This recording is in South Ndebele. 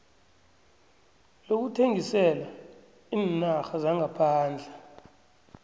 lokuthengisela iinarha zangaphandle